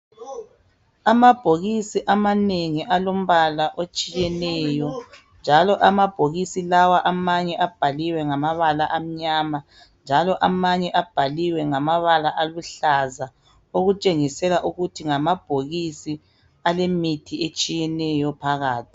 Amabhokisi amanengi alemibala etshiyeneyo amanye abhaliwe ngamabala amnyama amanye ngaluhlaza okutshengisa ukuthi alemithi etshiyeneyo phakathi.